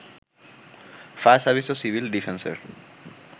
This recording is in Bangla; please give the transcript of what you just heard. ফায়ার সার্ভিস ও সিভিল ডিফেন্সের